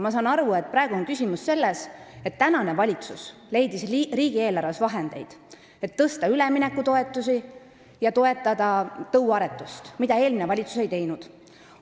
Ma saan aru, et praegu on küsimus selles, et tänane valitsus leidis riigieelarves vahendeid, et suurendada üleminekutoetusi ja toetada tõuaretust, mida eelmine valitsus ei teinud.